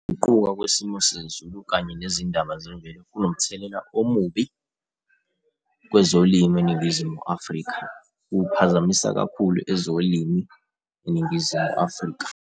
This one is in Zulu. Ukuguquka kwesimo sezulu, kanye nezindaba zemvelo kunomthelela omubi kwezolimo eNingizimu Afrika. Kuphazamisa kakhulu ezolimi eNingizimu Afrika.